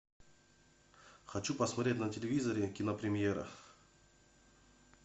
хочу посмотреть на телевизоре кинопремьера